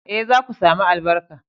Eh, za ku sami albarka